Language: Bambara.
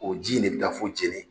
O ji in de bɛ taa fo Jene